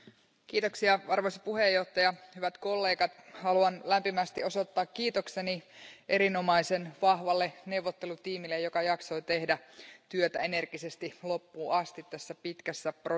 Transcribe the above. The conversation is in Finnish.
Arvoisa puhemies, hyvät kollegat, haluan lämpimästi osoittaa kiitokseni erinomaisen vahvalle neuvottelutiimille, joka jaksoi tehdä työtä energisesti loppuun asti tässä pitkässä prosessissa.